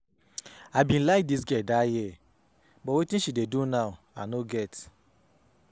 I be like dis girl dat year but wetin she dey do now I no get